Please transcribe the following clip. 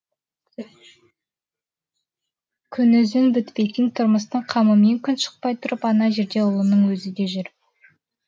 күнүзін бітпейтін тұрмыстың қамымен күн шықпай тұрып ана жерде ұлының өзі де жүр